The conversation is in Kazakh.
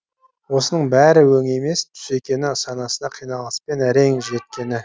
осының бәрі өңі емес түсі екені санасына қиналыспен әрең жеткені